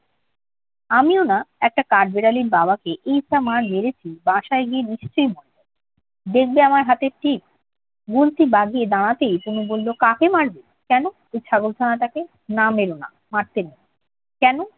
আমিও না একটা কাঠবিড়ালির বাবাকে এয়ছা মার মেরেছি, বাসায় গিয়ে নিশ্চয়ই মরে যাবে। দেখবে আমার হাতের টিপ? গুলতি বাগিয়ে দাঁড়াতেই তনু বলল, কাকে মারবে? কেন? এই ছাগলছানাটাকে। না মের না, মারতে নেই। কেন?